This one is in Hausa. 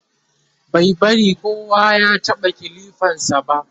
bai bari kowa ya taɓa kilifan sa ba